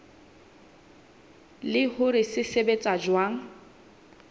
le hore se sebetsa jwang